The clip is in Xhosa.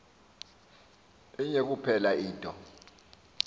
inye kuphela into